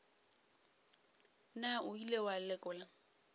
na o ile wa lekola